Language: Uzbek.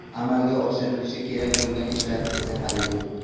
Amalga oshirlishi kerak bo‘lgan ishlar esa hali ko‘p.